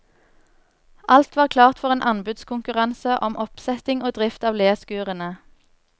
Alt var klart for en anbudskonkurranse om oppsetting og drift av leskurene.